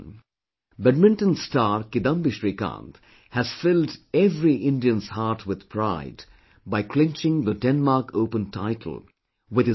Badminton star Kidambi Srikanth has filled every Indian's heart with pride by clinching the Denmark Open title with his excellent performance